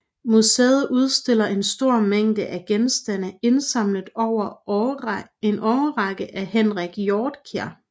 Museet udstiller en stor mængde af genstande indsamlet over en årrække af Henrik Hjortkær